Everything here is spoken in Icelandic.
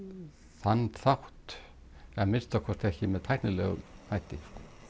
þann hátt að minnsta kosti ekki með tæknilegum hætti